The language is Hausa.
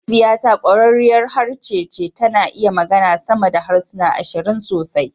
Mahaifiyata ƙwararriyar harshe ce, tana iya magana sama da harsuna ashirin sosai